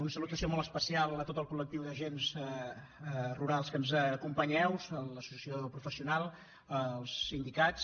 una salutació molt especial a tot el col·lectiu d’agents rurals que ens acompanyeu a l’associació professional als sindicats